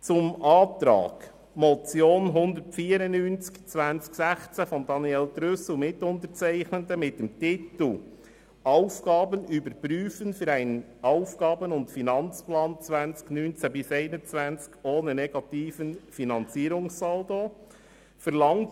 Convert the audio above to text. Zum Antrag betreffend die Motion 194-2016 von Daniel Trüss l, Mitunterzeichnendem, mit dem Titel «Aufgaben üb fen fü einen Aufgaben- und Finanzplan 2019 bis 2021 ohne negativen Finanzierungssaldo»: